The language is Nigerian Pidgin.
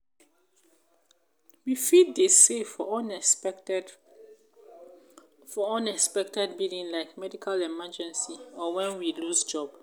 we fit dey save for unexpected for unexpected billing like medical emergency or when we lose job